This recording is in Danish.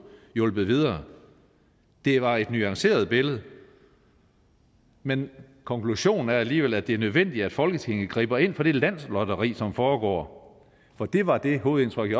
hjulpet videre det var et nuanceret billede men konklusionen er alligevel at det er nødvendigt at folketinget griber ind over for det landslotteri som foregår for det var det hovedindtryk